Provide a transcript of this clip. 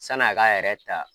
Sani a ka yɛrɛ ta.